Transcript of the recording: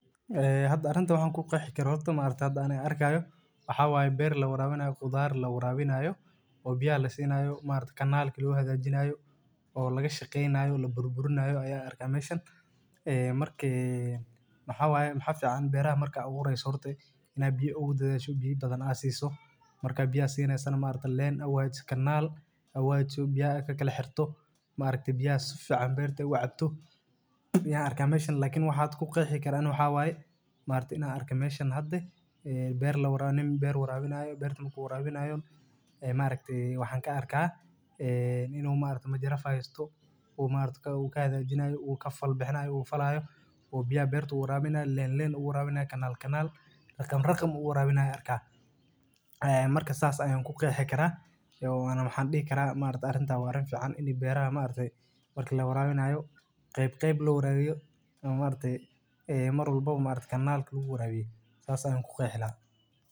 Hada arinta waxan kuqeei kara horta maragtay ani arkayo waxa waya beer lawarabinayo khudar lawaraabinayo o biyaha lasimayo maragtay kalanka lo hagajinayo o laga shaqeynayo laburbuurinayo aya meshan waxawaya waxa fican beeraha marka abuureyso waxa fican horta ina biyo ugu dadadhsid biyo badan a siso marka biyaha sineysana marka leen u hagajisa kanaal a u hagajiso biyaha kakala xerto maragatay biyaha si fican berta u cab cabto yan araka mesha lkn waxa kuqeexi kara waxawaya maragtay ina arka beera lawarabinayo ni beer warabinayo beerta marku warabinyao e maragtay waxan kaarka e inu maragtay majarafad haysto u maragtay kahagajinayo u kafal bixinayo o biyaha beerta warabinayo leen, leen uwrabinayo kanaal kanaal raqam, raqam u uwarabinayo an arkaya marka sas ayan kuqeexi kara ona waxan dihi kara arinta wa arin fican in beeraha marki lawarabinayo qeyb qeyb lo warabiyo o maragtay marwalbaba kanaalka lagu warabiyo sas ayan ku qeexi laha.